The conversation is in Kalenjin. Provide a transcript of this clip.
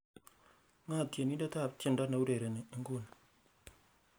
ng'o tienindet ab tiendo neiurereni inguni